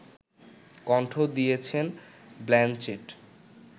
কণ্ঠ দিয়েছেন ব্ল্যানচেট